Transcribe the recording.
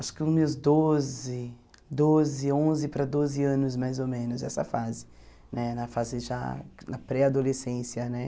acho que os meus doze doze, onze para doze anos, mais ou menos, essa fase, né na fase já na pré-adolescência né.